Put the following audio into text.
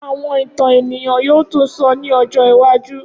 Awọn itan eniyan yoo tun sọ ni ọjọ iwaju.